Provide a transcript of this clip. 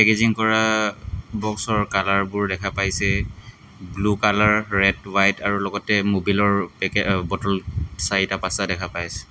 Packaging কৰা বক্সৰ কালাৰবোৰ দেখা পাইছে ব্লু কালাৰ ৰেড হোৱাইট আৰু লগতে ম'বিলৰ পেকে অ বটল চাৰিটা পাঁচটা দেখা পাইছে।